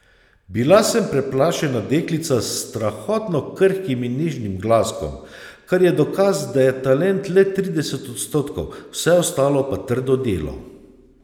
Bila sem preplašena deklica s strahotno krhkim in nežnim glaskom, kar je dokaz, da je talent le trideset odstotkov, vse ostalo pa trdo delo.